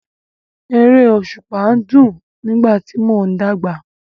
Eré òṣùpá dùn nígbà tí mò ń dàgbà.